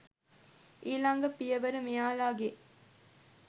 ඊලඟ පියවර මෙයාලාගේ.